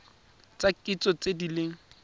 tsa kitso tse di leng